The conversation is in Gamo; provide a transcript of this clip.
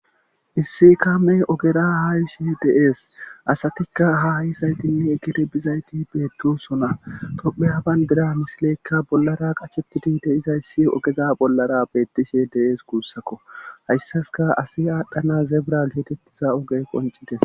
issi kaame ogera haysi deees asatikka haayisaytinne kire bizayti beegdosona tophe habandira misileyekka bollara qachettidi deizayssi ogeza bollara beettishe de7ees guussakko hayssaska asi aadhdhana zeebra geetettiza oge qoncites